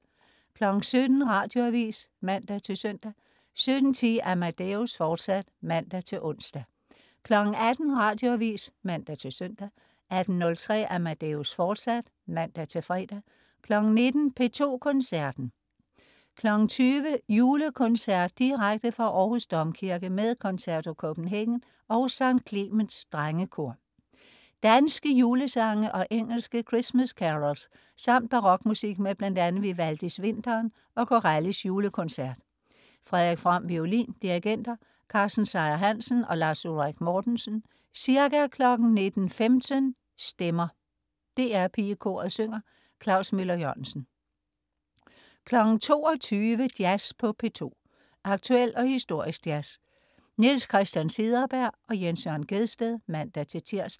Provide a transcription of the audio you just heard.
17.00 Radioavis (man-søn) 17.10 Amadeus, fortsat (man-ons) 18.00 Radioavis (man-søn) 18.03 Amadeus, fortsat (man-fre) 19.00 P2 Koncerten. 20.00 Julekoncert . Direkte fra Århus Domkirke med Concerto Copenhagen og Skt. Clemens Drengekor. Danske julesange og engelske Christmas carols samt barokmusik med bl.a. Vivaldis Vinteren og Corellis Julekoncert. Frederik From, violin. Dirigenter: Carsten Seyer-Hansen og Lars Ulrik Mortensen. Ca. 19.15 Stemmer. DR PigeKoret synger. Klaus Møller-Jørgensen 22.00 Jazz på P2. Aktuel og historisk jazz. Niels Christian Cederberg/Jens Jørn Gjedsted (man-tirs)